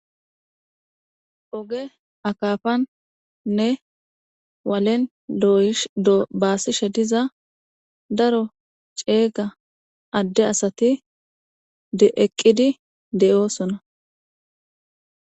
Oge akapanne walen doyishe bassishshe diza daro cega ade asati eqidi de"osona